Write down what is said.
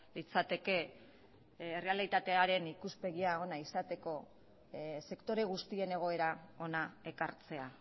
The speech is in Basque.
litzateke errealitatearen ikuspegia ona izateko sektore guztien egoera hona ekartzea